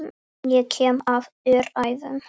Ég kem af öræfum.